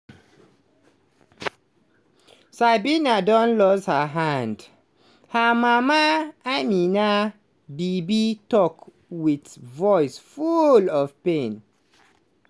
sabina don lose her hand?" her mama ameena bibi tok wit voice full of pain.